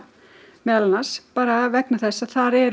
meðal annars bara vegna þess að þar er